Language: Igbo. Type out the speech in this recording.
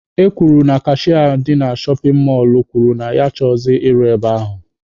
E kwuru na kashịa ndị shọpin mọlụ kwuru na ya achọghịzị ịrụ e ahụ